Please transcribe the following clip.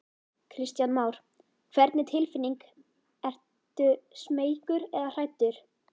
Kristján Már: Hvernig tilfinning, ertu smeykur eða hræddur?